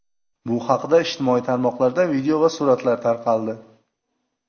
Bu haqda ijtimoiy tarmoqlarda video va suratlar tarqaldi.